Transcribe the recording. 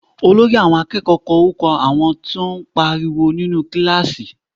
Olórí àwọn akẹ́kọ̀ọ́ kọ orúkọ àwọn tó ń pariwo nínú kíláàsì